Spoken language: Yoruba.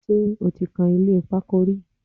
Ṣé o ti kan ilé pákó rí?